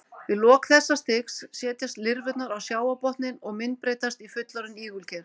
Við lok þessa stigs setjast lirfurnar á sjávarbotninn og myndbreytast í fullorðin ígulker.